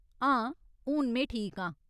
हां, हून में ठीक आं।